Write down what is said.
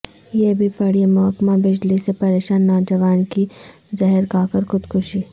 یہ بھی پڑھیں محکمہ بجلی سے پریشان نوجوان کی زہر کھاکر خودکشی